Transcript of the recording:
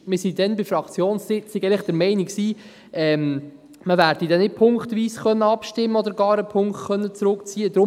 Wir waren damals an der Fraktionssitzung eigentlich der Meinung, man werde nicht punktweise abstimmen oder gar einen Punkt zurückziehen können;